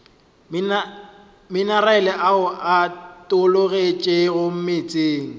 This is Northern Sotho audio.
minerale ao a tologetšego meetseng